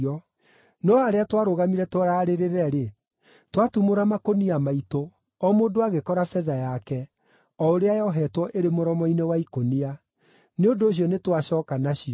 No harĩa twarũgamire tũrarĩrĩre-rĩ, twatumũra makũnia maitũ o mũndũ agĩkora betha yake, o ũrĩa yoheetwo ĩrĩ mũromo-inĩ wa ikũnia. Nĩ ũndũ ũcio nĩ twacooka nacio.